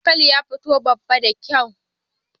Dankalin ya fito babba da kyau.